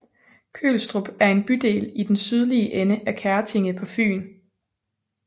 Kølstrup er en bydel i den sydlige ende af Kertinge på Fyn